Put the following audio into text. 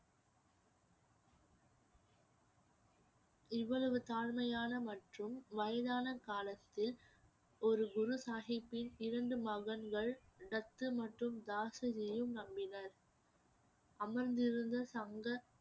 இவ்வளவு தாழ்மையான மற்றும் வயதான காலத்தில் ஒரு குரு சாஹிப்பின் இரண்டு மகன்கள் தத்து மற்றும் தாசுவியும் நம்பினர் அமர்ந்திருந்த சங்க